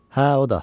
Hə, o da.